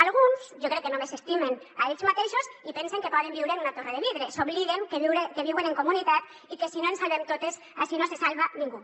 alguns jo crec que només s’estimen a ells mateixos i pensen que poden viure en una torre de vidre s’obliden que viuen en comunitat i que si no ens salvem totes ací no se salva ningú